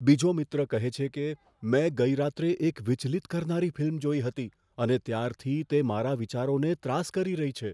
બીજો મિત્ર કહે છે કે, મેં ગઈ રાત્રે એક વિચલિત કરનારી ફિલ્મ જોઈ હતી અને ત્યારથી તે મારા વિચારોને ત્રાસ કરી રહી છે.